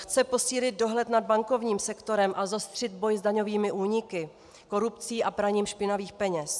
Chce posílit dohled nad bankovním sektorem a zostřit boj s daňovými úniky, korupcí a praním špinavých peněz.